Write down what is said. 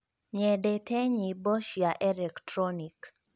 nyendete nyĩmbo cia electronic